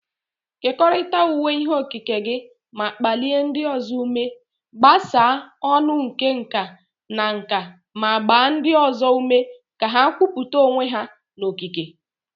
Kekọrịta ụwa ihe okike gị ma kpalie ndị ọzọ ume. Gbasaa ọn̄ụ nke nka na nka ma gbaa ndị ọzọ ume ka ha kwupụta onwe ha na okike.